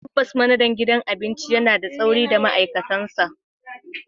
Tabbas, manajan gidan abinci yana da tsauri da ma'aikatansa.